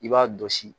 I b'a dɔsi